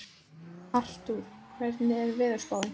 Artúr, hvernig er veðurspáin?